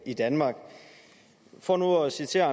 i danmark for nu at citere